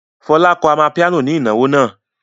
Fọlá kọ amapiano ní ìnáwó náà.